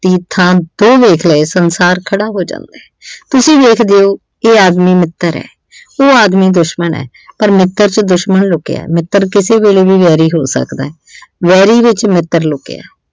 ਦੀ ਥਾਂ ਦੋ ਵੇਖ ਲਏ ਸੰਸਾਰ ਖੜਾ ਹੋ ਜਾਂਦਾ। ਤੁਸੀਂ ਵੇਖਦੇ ਇਹ ਆਦਮੀ ਮਿੱਤਰ ਆ ਉਹ ਆਦਮੀ ਦੁਸ਼ਮਣ ਆ ਪਰ ਮਿੱਤਰ ਚ ਦੁਸ਼ਮਣ ਲੁਕਿਆ ਮਿੱਤਰ ਕਿਸੇ ਵੇਲੇ ਵੀ ਵੈਰੀ ਹੋ ਸਕਦਾ ਵੈਰੀ ਵਿੱਚ ਮਿੱਤਰ ਲੁਕਿਆ।